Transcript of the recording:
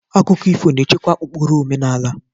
Akụkọ ifo na-echekwa ụkpụrụ omenala.